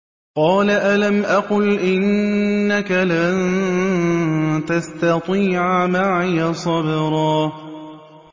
قَالَ أَلَمْ أَقُلْ إِنَّكَ لَن تَسْتَطِيعَ مَعِيَ صَبْرًا